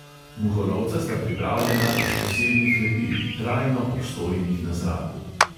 Muholovca sta pripravljena iz posebnih lepil, trajno obstojnih na zraku.